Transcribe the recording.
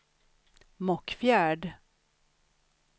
Mockfjärd